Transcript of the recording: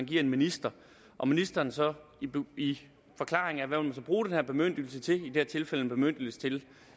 til en minister og ministeren så i forklaringen af hvad man bruge den her bemyndigelse til i det her tilfælde en bemyndigelse til